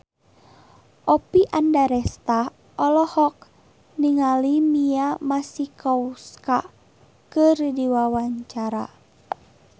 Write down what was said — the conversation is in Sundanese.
Oppie Andaresta olohok ningali Mia Masikowska keur diwawancara